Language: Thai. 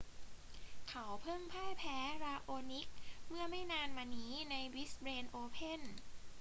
เขาเพิ่งพ่ายแพ้ราโอนิกเมื่อไม่นานมานี้ในบริสเบนโอเพ่น